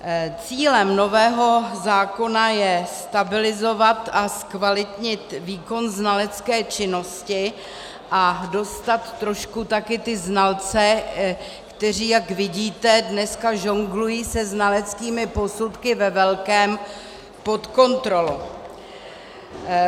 Cílem nového zákona je stabilizovat a zkvalitnit výkon znalecké činnosti a dostat trošku také znalce, kteří, jak vidíte, dneska žonglují se znaleckými posudky ve velkém, pod kontrolu.